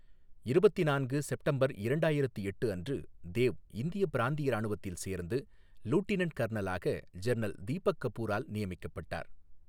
இருபத்து நான்கு செப்டம்பர் இரண்டாயிரத்து எட்டு அன்று, தேவ் இந்திய பிராந்திய ராணுவத்தில் சேர்ந்து, லூடினன்ட் கர்னலாக ஜெனரல் தீபக் கபூரால் நியமிக்கப்பட்டார்.